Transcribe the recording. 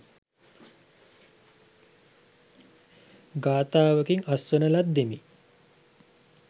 ගාථාවකින් අස්වන ලද්දෙමි.